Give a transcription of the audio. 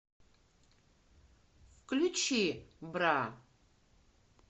включи бра